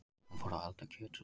Hann fór að elda kjötsúpu.